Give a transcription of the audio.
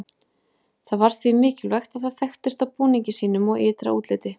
Það var því mikilvægt að það þekktist á búningi sínum og ytra útliti.